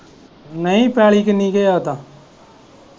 ਨਹੀਂ ਪੈਲੀ ਕਿੰਨੀ ਕ ਆ ਓਦਾ।